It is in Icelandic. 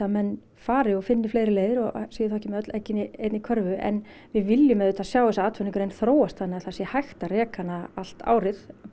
menn fari og finni fleiri leiðir og séu þá ekki með öll eggin í einni körfu en við viljum auðvitað sjá þessa atvinnugrein þróast þannig að það sé hægt að reka hana allt árið